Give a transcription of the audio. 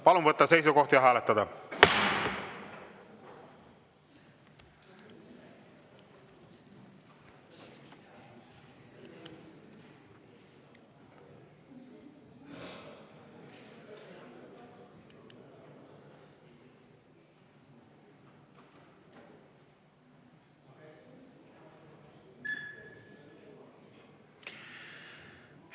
Palun võtta seisukoht ja hääletada!